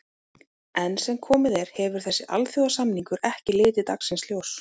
Enn sem komið er hefur þessi alþjóðasamningur ekki litið dagsins ljós.